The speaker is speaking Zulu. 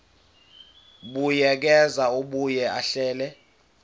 buyekeza abuye ahlele